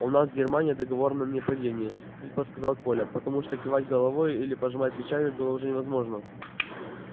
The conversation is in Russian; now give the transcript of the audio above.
у нас с германией договор о ненападении хрипло сказал коля потому что кивать головой или пожимать плечами было уже невозможно